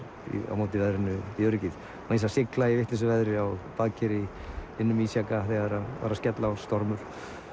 á móti veðrinu í öryggið og sigla í vitlausu veðri á baðkeri innan um ísjaka þegar var að skella á stormur